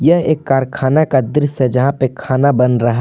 यह एक कारखाना का दृस्य है जहां पे खाना बन रहा--